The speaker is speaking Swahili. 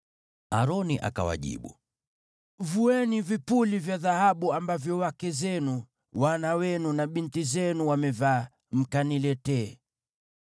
Aroni akawajibu, “Vueni vipuli vya dhahabu ambavyo wake zenu, wana wenu na binti zenu wamevaa, mkaniletee.”